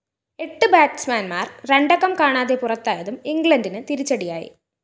എട്ട്‌ ബാറ്റ്സ്മാന്‍മാര്‍ രണ്ടക്കം കാണാതെ പുറത്തായതും ഇംഗ്ലണ്ടിന്‌ തിരിച്ചടിയായി